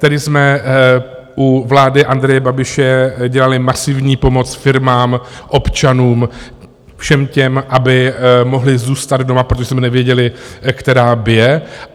Tehdy jsme u vlády Andreje Babiše dělali masivní pomoc firmám, občanům, všem těm, aby mohli zůstat doma, protože jsme nevěděli, která bije.